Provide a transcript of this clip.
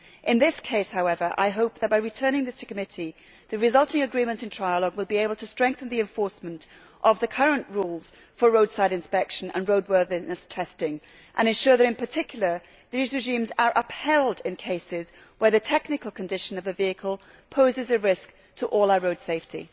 In this case, however, I hope that by returning this to committee the resulting agreements in trialogue will be able to strengthen the enforcement of the current rules for roadside inspection and roadworthiness testing and ensure that, in particular, these regimes are upheld in cases where the technical condition of a vehicle poses a risk to all our road safety.